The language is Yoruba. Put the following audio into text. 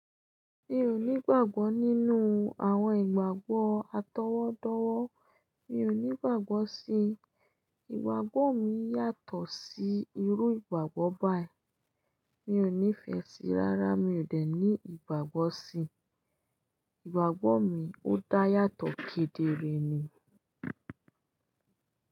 Mi ò ní ìgbàgbọ́ nínú àwọn ìgbàgbọ́ atọwọ́dọwọ́. Mi ò ní ìgbàgbọ́ sí i. Ìgbàgbọ́ mi yàtọ̀ sí irú ìgbàgbọ́ báyìí. Mi ò nífẹ̀ẹ́ sí i rárá. Mi ò dẹ̀ ní ìgbàgbọ́ sí i. Ìgbàgbọ́ mi ó dá yàtọ̀ kedere ni.